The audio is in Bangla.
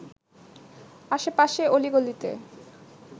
আশেপাশে অলি-গালিতে